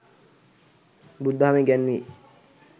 බුදුදහමේ ඉගැන්වේ.